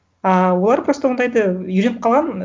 ыыы олар просто ондайды үйреніп қалған